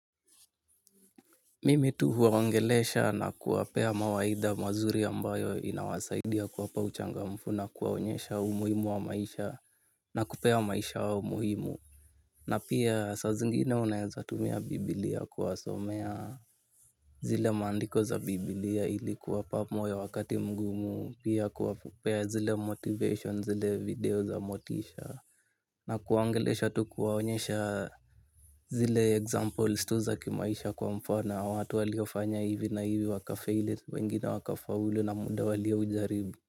Mimi tu huwaongelesha na kuwapea mawaidha mazuri ambayo inawasaidia kuwapa uchangamfu nakuwaonyesha umuhimu wa maisha na kupea maisha yao umuhimu. Na pia saa zingine unaezatumia bibilia kuwasomea zile mandiko za bibilia ilikuwapa moyo wakati mgumu pia kuwapea zile motivation zile video za motisha. Na kuwaongelesha tu kuwaonyesha zile examples tu zakimaisha kwa mfano watu waliofanya hivi na hivi waka feli wengine waka faulu na muda walio ujaribu.